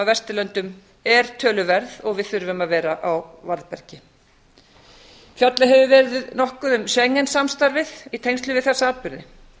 af vesturlöndum er töluverð og við þurfum að vera á varðbergi fjallað hefur verið nokkuð um schengen samstarfið í tengslum við þessa atburði